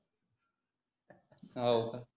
होका